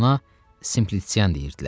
Ona Simpliçian deyirdilər.